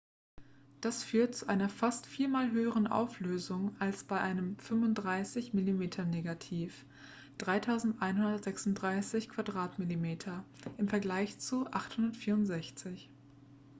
das führt zu einer fast viermal höheren auflösung als bei einem 35-mm-negativ 3136 mm² im vergleich zu 864